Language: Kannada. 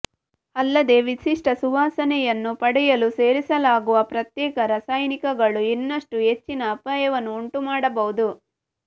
ಅಲ್ಲದೇ ವಿಶಿಷ್ಟ ಸುವಾಸನೆಯನ್ನು ಪಡೆಯಲು ಸೇರಿಸಲಾಗುವ ಪ್ರತ್ಯೇಕ ರಾಸಾಯನಿಕಗಳು ಇನ್ನಷ್ಟು ಹೆಚ್ಚಿನ ಅಪಾಯವನ್ನು ಉಂಟು ಮಾಡಬಹುದು